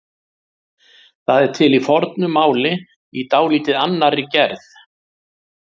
Það er til í fornu máli í dálítið annarri gerð.